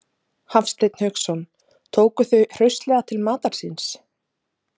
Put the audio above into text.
Hafsteinn Hauksson: Tóku þau hraustlega til matar síns?